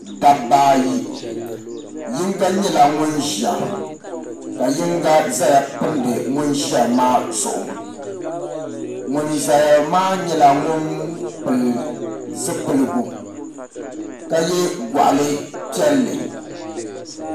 Dabba ayi yinga nyɛla ŋun ʒiya ka yinga ʒɛya pindi ŋun ʒiya maa zuɣu ŋun ʒɛya maa nyɛla ŋun pili zipiligu ka yɛ goɣali piɛlli